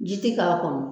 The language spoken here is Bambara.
Ji ti k'a kɔnɔ